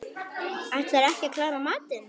Ætlarðu ekki að klára matinn?